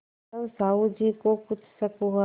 तब साहु जी को कुछ शक हुआ